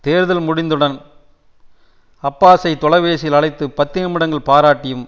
தேர்தல் முடிந்தவுடன் அப்பாஸை தொலைபேசியில் அழைத்து பத்து நிமிடங்கள் பாராட்டியும்